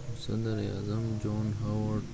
خو صدر اعظم john howard